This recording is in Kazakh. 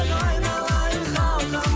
айналайын халқым